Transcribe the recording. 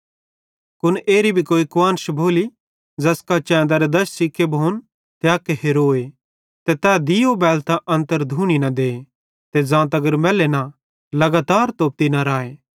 कुन एरी भी कोई कुआन्श भोली ज़ैसका चैंदरे दश सिके भोन ते अक हेरोए ते तै दीयो बैलतां घरे अन्तर धूनी न दे ते ज़ां तगर मैल्ले न तां तगर तोप्ती न राए